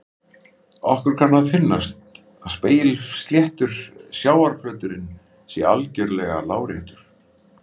Okkur kann að finnast að spegilsléttur sjávarflöturinn sé algjörlega láréttur.